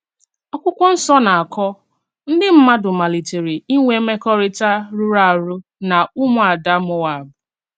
Àkwụ́kwọ́ Nsọ́ na-akọ̀: "Ndí mmádụ̀ màlítèrè ínwè mèkòrítà rùràrù̀ na ùmù-àdà Móáb...